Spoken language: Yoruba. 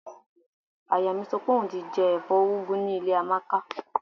Aya mi sọ pé òun ti jẹ ẹ̀fọ́ úgú ní ilé Amáka